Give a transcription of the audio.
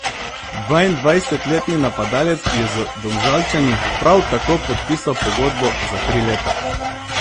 Dvaindvajsetletni napadalec je z Domžalčani prav tako podpisal pogodbo za tri leta.